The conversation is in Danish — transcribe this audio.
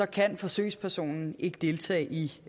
kan forsøgspersonen ikke deltage i